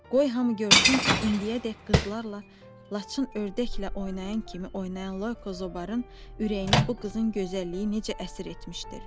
Qoy hamı görsün ki, indiyədək qızlarla laçın ördəklə oynayan kimi oynayan Loyko zobanın ürəyini bu qızın gözəlliyi necə əsir etmişdir.